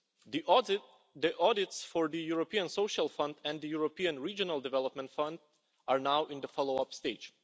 The audits for the European Social Fund and the European Regional Development Fund are now in the follow up stage.